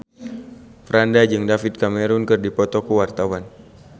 Franda jeung David Cameron keur dipoto ku wartawan